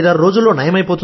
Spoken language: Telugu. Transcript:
ఐదారు రోజుల్లో నయం